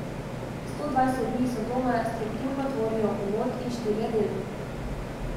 Sto dvajset dni Sodome strukturno tvorijo uvod in štirje deli.